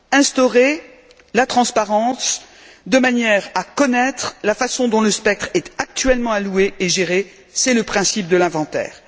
Ainsi, instaurer la transparence de manière à connaître la façon dont le spectre est actuellement alloué et géré c'est le principe de l'inventaire.